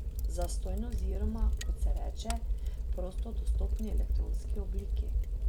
Zastonj oziroma, kot se reče, v prostodostopni elektronski obliki.